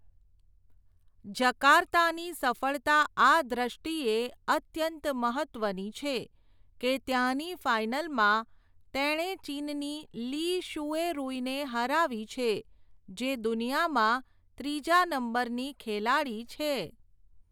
જકાર્તાની સફળતા આ દૃષ્ટિએ અત્યંત મહત્ત્વની છે, કે ત્યાંની ફાઈનલમાં તેણે ચીનની લી શૂએરૂઈને હરાવી છે, જે દુનિયામાં ત્રીજા નંબરની ખેલાડી છે.